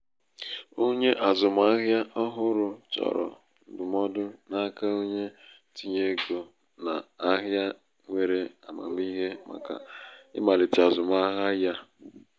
onye azụmahịa ọhụrụ chọrọ ndụmọdụ n'aka onye ntinyé ego n'ahịa nwere amamihe màkà ịmalite azụmahịa ya.